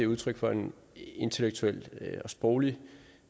udtryk for en intellektuel og sproglig